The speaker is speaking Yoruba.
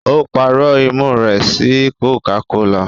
O parọ imú rẹ sí cocacola.